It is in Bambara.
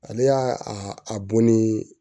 Ale y'a a bo ni